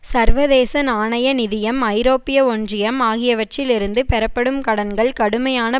சர்வதேச நாணய நிதியம் ஐரோப்பிய ஒன்றியம் ஆகியவற்றில் இருந்து பெறப்படும் கடன்கள் கடுமையான